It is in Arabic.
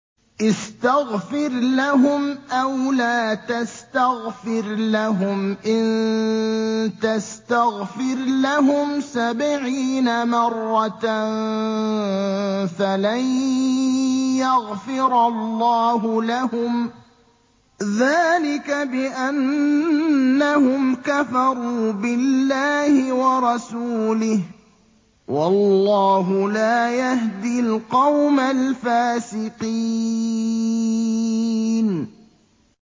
اسْتَغْفِرْ لَهُمْ أَوْ لَا تَسْتَغْفِرْ لَهُمْ إِن تَسْتَغْفِرْ لَهُمْ سَبْعِينَ مَرَّةً فَلَن يَغْفِرَ اللَّهُ لَهُمْ ۚ ذَٰلِكَ بِأَنَّهُمْ كَفَرُوا بِاللَّهِ وَرَسُولِهِ ۗ وَاللَّهُ لَا يَهْدِي الْقَوْمَ الْفَاسِقِينَ